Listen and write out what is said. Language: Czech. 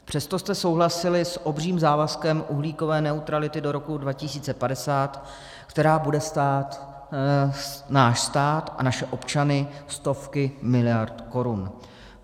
Přesto jste souhlasili s obřím závazkem uhlíkové neutrality do roku 2050, která bude stát náš stát a naše občany stovky miliard korun.